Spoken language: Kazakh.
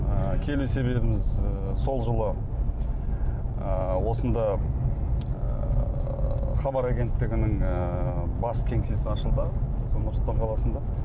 ы келу себебіміз ы сол жылы ы осында ыыы хабар агенттігінің ыыы бас кеңсесі ашылды сол нұр сұлтан қаласында